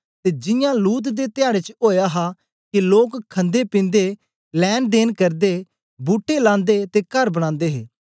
ते जियां लूत दे धयाडें च ओया हा के लोक खन्देपिन्दे लैंनदेन करदे बूट्टे लांदे ते कर बनांदे हे